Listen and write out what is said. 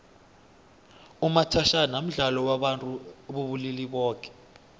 umathajhana mdlalo wabantu bobulili boke